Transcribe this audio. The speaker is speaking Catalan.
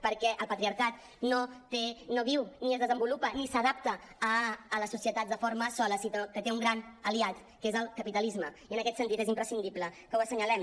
perquè el patriarcat no té no viu ni es desenvolupa ni s’adapta a les societats de forma sola sinó que té un gran aliat que és el capitalisme i en aquest sentit és imprescindible que ho assenyalem